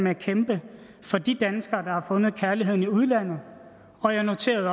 at kæmpe for de danskere der har fundet kærligheden i udlandet og jeg noterede